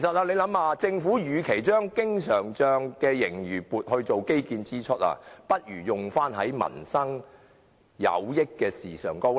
試想想，政府與其將經常帳的盈餘撥作應付基建支出之用，倒不如用於對民生有益的事情上。